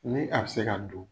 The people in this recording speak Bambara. Ni a be se ka don